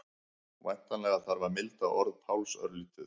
Væntanlega þarf að milda orð Páls örlítið.